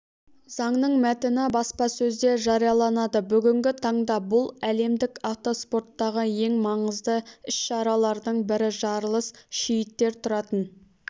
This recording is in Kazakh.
заңның мәтіні баспасөзде жарияланады бүгінгі таңда бұл әлемдік автоспорттағы ең маңызды іс-шаралардың бірі жарылыс шииттер тұратын